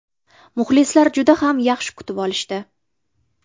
Muxlislar juda ham yaxshi kutib olishdi.